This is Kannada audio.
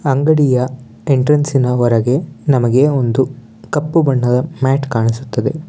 ಅಂಗಡಿಯ ಎಂಟ್ರೆನ್ಸ್ ಇನ ಹೊರಗೆ ನಮಗೆ ಒಂದು ಕಪ್ಪು ಬಣ್ಣದ ಮ್ಯಾಟ ಕಾಣಿಸುತ್ತದೆ.